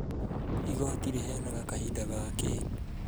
Igoti rĩheanaga kahinda gakĩĩ?